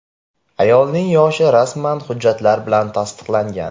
Ayolning yoshi rasman hujjatlar bilan tasdiqlangan.